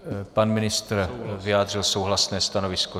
Pan ministr vyjádřil souhlasné stanovisko.